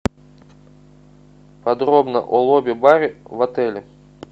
подробно о лобби баре в отеле